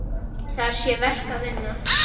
Þar sé verk að vinna.